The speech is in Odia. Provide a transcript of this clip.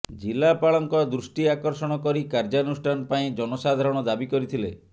ଜିଲ୍ଲାପାଳଙ୍କ ଦୃଷ୍ଟି ଆକର୍ଷଣ କରି କାର୍ଯ୍ୟାନୁଷ୍ଠାନ ପାଇଁ ଜନସାଧାରଣ ଦାବୀ କରିଥିଲେ